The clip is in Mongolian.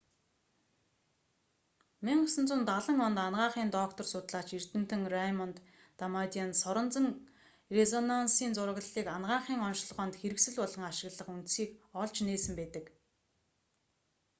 1970 онд анагаахын доктор судлаач эрдэмтэн рэймонд дамадиан соронзон резонансын зураглалыг анагаахын оношилгоонд хэрэгсэл болгон ашиглах үндсийг олж нээсэн байдаг